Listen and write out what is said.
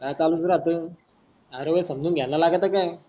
तसच चालूच राहत हर वेडेस सामजून घ्यानालागत त काय,